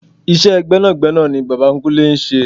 Iṣẹ́ gbẹ́nàgbẹ́nà ni bàbá kúnlé ń ṣe.